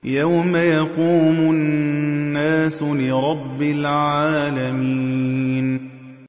يَوْمَ يَقُومُ النَّاسُ لِرَبِّ الْعَالَمِينَ